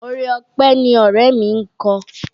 Orin ọpẹ́ ni ọ̀rẹ́ mi ń kọ.